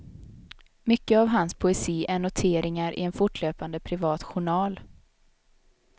Mycket av hans poesi är noteringar i en fortlöpande privat journal.